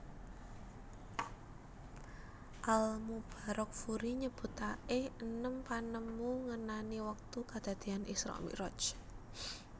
Al Mubarakfuri nyebutaké enem panemu ngenani wektu kedadéyan Isra Miraj